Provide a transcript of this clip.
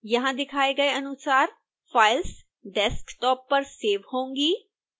यहां दिखाए गए अनुसार फाइल्स डेस्कटॉप पर सेव होंगी